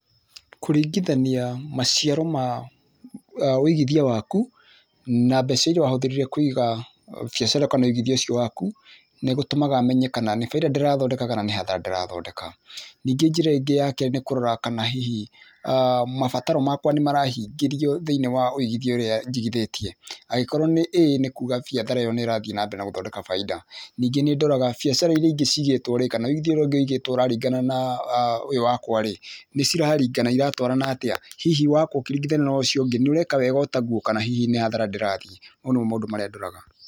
Kũringithania maciaro ma ũigĩthia waku na ,mbeca iria wahũthĩrire kũiga biacara kana wũigithia ũcio waku nĩ gũtũmaga menye nĩ baita ndĩrathondeka kana nĩ hathara ndĩrathondeka, ningĩ njĩra ingĩ ya kerĩ nĩ kũrora kana hihi mabataro makwa hihi nĩ marahingĩrio thĩinĩ wa wũigithia ũria jigithitie? Angĩkorwo nĩ ĩĩ nĩ kũga biacara nĩrathie na mbere na gũthondeka baita, ningĩ nĩ ndoraga biacara ĩria ingĩ cigitwo rĩ kana ũria ũngĩ wĩgĩtwe nĩ ciraringana na ũyũ wakwa rĩ nicirarigana ciratwarana atĩa hihi wakorwo ũkĩrigithania na ũcio ũngĩ nĩ ũreka wega otagũo kana hihi nĩ hathara ndĩrathiĩ? Mau nĩmo maũndũ marĩa ndoraga.